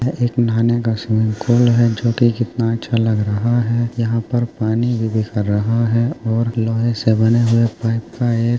ये एक नहाने का स्विमिंग पूल है जोकि कितना अच्छा लग रहा है यहाँ पर पानी रहा है और लोहे से बने हुए पाइप का एक --